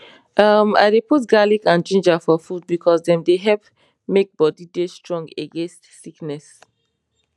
em i dey put garlic and ginger for food because dem dey help make bodi dey strong against sickness